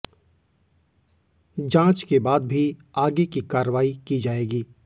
जांच के बाद भी आगे की कार्रवाई की जाएगी